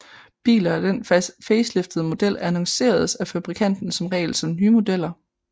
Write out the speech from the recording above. Biler af den faceliftede model annonceres af fabrikanten som regel som nye modeller